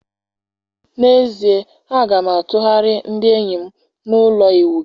N'ezie, a ga m atụgharị ndị enyi m na ụlọ ịwụ gị.